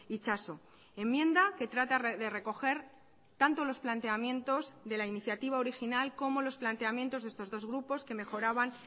itxaso enmienda que trata de recoger tanto los planteamientos de la iniciativa original como los planteamientos de estos dos grupos que mejoraban